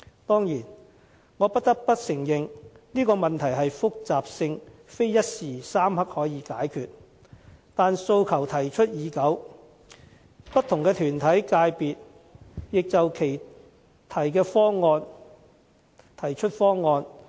當然，我不得不承認這問題的複雜性非一時三刻可以解決，但訴求提出已久，不同團體、界別也提出其方案。